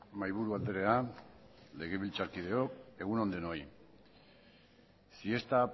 mahaiburu andrea legebiltzarkideok egun on denoi si esta